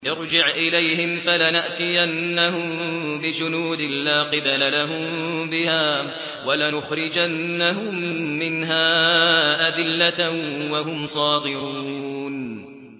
ارْجِعْ إِلَيْهِمْ فَلَنَأْتِيَنَّهُم بِجُنُودٍ لَّا قِبَلَ لَهُم بِهَا وَلَنُخْرِجَنَّهُم مِّنْهَا أَذِلَّةً وَهُمْ صَاغِرُونَ